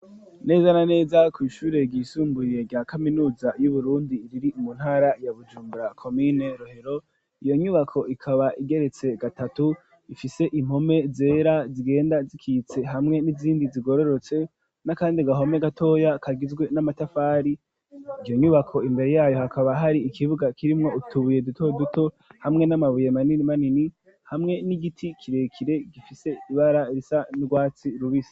neza na neza ku ishure ry'isumburiye rya kaminuza yu Burundi iri mu ntara ya Bujumbura komine rohero iyo nyubako ikaba igeretse gatatu ifise impome zera zigenda zikitse hamwe n'izindi zigororotse na kandi gahome gatoya kagizwe n'amatafari iyo nyubako imbere yayo hakaba hari ikibuga kirimwo utubuye duto duto hamwe n'amabuye manini manini hamwe n'igiti kirekire gifise ibara risa n'urwatsi rubisi.